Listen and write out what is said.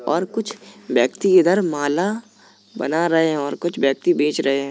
और कुछ व्यक्ति इधर माला बना रहे हैं और कुछ व्यक्ति बेच रहे हैं।